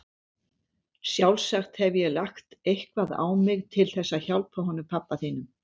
Sjálfsagt hef ég lagt eitthvað á mig til þess að hjálpa honum pabba þínum.